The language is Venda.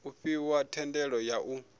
u fhiwa thendelo ya u